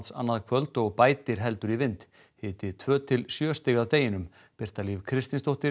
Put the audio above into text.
annað kvöld og bætir heldur í vind hiti tvö til sjö stig að deginum Birta Líf Kristinsdóttir